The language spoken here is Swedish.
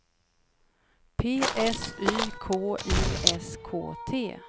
P S Y K I S K T